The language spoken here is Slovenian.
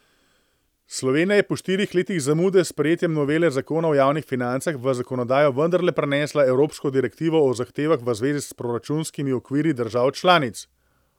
Slovenija je po štirih letih zamude s sprejetjem novele zakona o javnih financah v zakonodajo vendarle prenesla evropsko direktivo o zahtevah v zvezi s proračunskimi okviri držav članic.